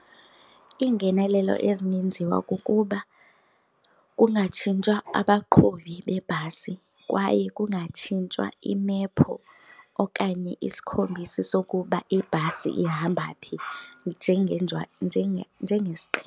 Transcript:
Iingenelelo ezingenziwa kukuba kungatshintshwa abaqhubi beebhasi kwaye kungatshintshwa imephu okanye isikhombisi sokuba ibhasi ihamba phi .